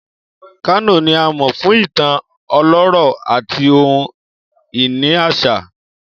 Kano ni a mọ fun itan ọlọrọ ati ohun-ini aṣa.